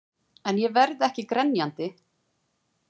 En ég verð ekki grenjandi.